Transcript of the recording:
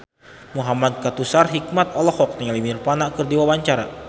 Muhamad Kautsar Hikmat olohok ningali Nirvana keur diwawancara